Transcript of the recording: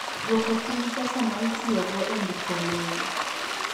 Dwoko piny pesa ma itiyogo e ndiko lowo.